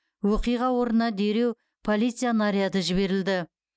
оқиға орнына дереу полиция наряды жіберілді